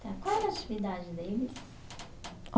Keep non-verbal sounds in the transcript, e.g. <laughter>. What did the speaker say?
Qual era a atividade deles? <unintelligible>